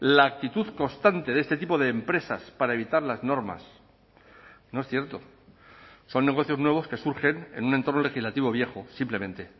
la actitud constante de este tipo de empresas para evitar las normas no es cierto son negocios nuevos que surgen en un entorno legislativo viejo simplemente